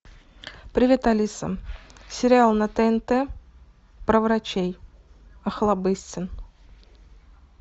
привет алиса сериал на тнт про врачей охлобыстин